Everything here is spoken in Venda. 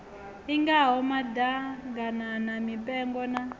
i ngaho maḓaganana mipengo na